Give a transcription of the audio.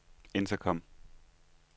intercom